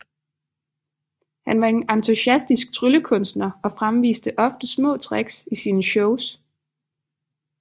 Han var en entusiastisk tryllekunstner og fremviste ofte små tricks i sine shows